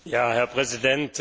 Herr Präsident!